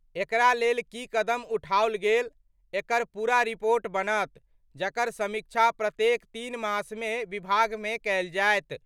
एकरा लेल की कदम उठायल गेल? एकर पूरा रिपोर्ट बनत, जकर समीक्षा प्रत्येक तीन मासमे विभागमे कयल जायत।